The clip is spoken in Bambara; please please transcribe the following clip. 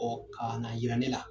ka na yira ne la.